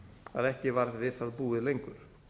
að ekki varð við það búið lengur